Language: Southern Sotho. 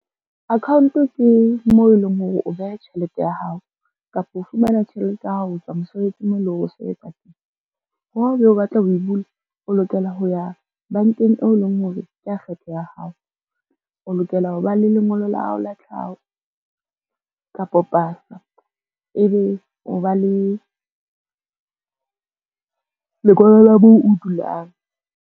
Account ke moo e leng hore o beha tjhelete ya hao kapa o fumana tjhelete ya ho tswa mosebetsing moo e leng hore o sebetsa teng. Ha e be o batla ho e bula, o lokela ho ya bankeng eo e leng hore kea kgetho ya hao, o lokela ho ba le lengolo la hao la tlhaho kapo pasa ebe o ba le lengolo la moo o dulang.